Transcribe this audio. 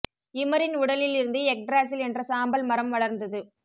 யிமரின் உடலில் இருந்து Yggdrasil என்ற சாம்பல் மரம் வளர்ந்தது